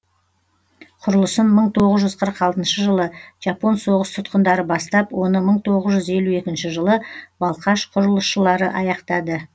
құрылысын мың тоғыз жүз қырық алтыншы жылы жапон соғыс тұтқындары бастап оны мың тоғыз жүз елу екінші жылы балқаш құрылысшылар аяқтады